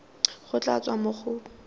go tla tswa mo go